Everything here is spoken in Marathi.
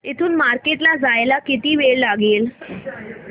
इथून मार्केट ला जायला किती वेळ लागेल